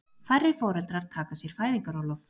Færri foreldrar taka sér fæðingarorlof